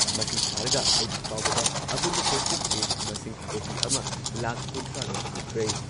ꯃꯁꯤ ꯊꯥꯔꯒ ꯍꯧꯖꯤꯛ ꯐꯥꯎꯕꯗ ꯑꯄꯨꯟꯕ ꯄꯣꯖꯤꯇꯤꯚ ꯀꯦꯁ ꯃꯁꯤꯡ ꯀꯣꯇꯤ ꯑꯃ ꯂꯥꯈ ꯀꯨꯟꯊ꯭ꯔꯥꯔꯣꯝ ꯁꯨꯈ꯭ꯔꯦ